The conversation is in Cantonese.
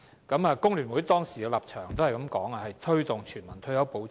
工聯會當時的立場是推動全民退休保障。